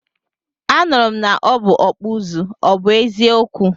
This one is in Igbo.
Anụrụ m na ọ bụ ọkpụ ụzụ, ọ bụ eziokwu?